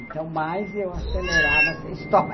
Então, mais eu acelerava essa história.